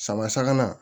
Sama sabanan